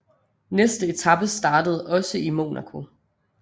Næste etape startede også i Monaco